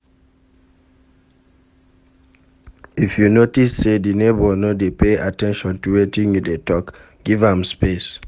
If you notice sey di neighbour no dey pay at ten tion to wetin you dey talk, give am space